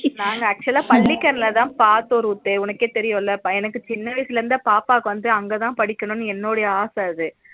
நாங்க actual பள்ளிகரனைலதா பாத்த ரூத்து உனக்கே தெரியும்ல பையனனுக்கு சின்ன வயசுல இருந்து பாப்பாக்கு வந்து அங்கதா படிக்கபோடணும்னு என்னோட ஆசை அது